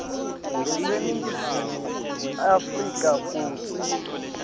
baseningizimu afrika kutsi